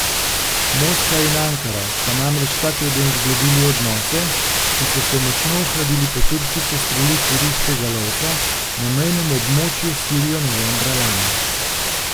Moskva in Ankara sta namreč ta teden zgladili odnose, ki so se močno ohladili po turški sestrelitvi ruskega lovca na mejnem območju s Sirijo novembra lani.